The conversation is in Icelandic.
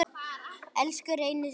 Elsku Reynir minn.